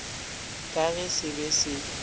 ka ge se be se